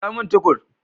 Kirowo min Tukur.